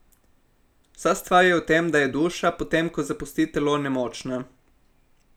Vsa stvar je v tem, da je duša, potem ko zapusti telo, nemočna.